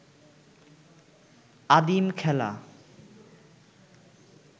আদিম খেলা